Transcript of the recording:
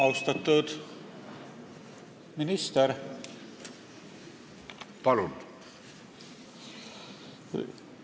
Austatud minister!